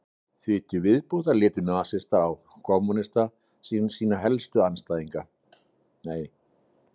því til viðbótar litu nasistar á kommúnista sem sína helstu pólitísku andstæðinga